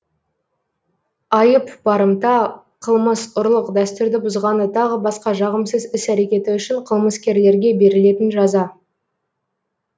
айып барымта қылмыс ұрлық дәстүрді бұзғаны тағы басқа жағымсыз іс әрекеті үшін қылмыскерлерге берілетін жаза